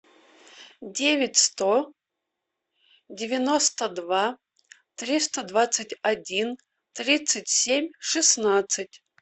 девять сто девяносто два триста двадцать один тридцать семь шестнадцать